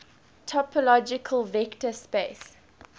topological vector space